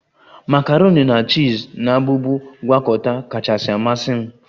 Makaroni na chiz na-abụbu ngwakọta kachasị amasị m